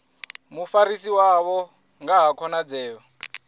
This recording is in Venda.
mufarisi wavho nga ha khonadzeo